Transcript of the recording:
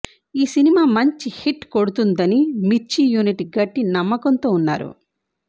ఈ సినిమా మంచి హిట్ కొడుతుందని మిర్చి యూనిట్ గట్టి నమ్మకం తో ఉన్నారు